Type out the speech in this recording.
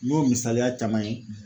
N y'o misaliya caman ye